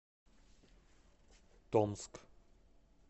томск